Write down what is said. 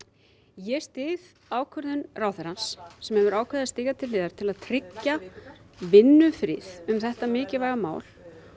ég styð ákvörðun ráðherrans sem hefur ákveðið að stíga til hliðar til að tryggja vinnufrið um þetta mikilvæga mál